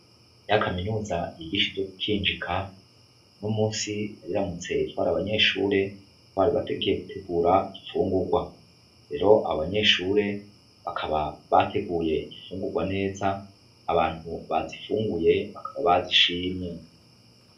Ya kaminuza yigisha ivyo gukinjika unomunsi yariramutse itwara abanyeshure bari batekeye gutegura imfungugwa, rero abo banyeshure bakaba bateguye imfungugwa neza abantu bazifunguye bakaba bazishimye.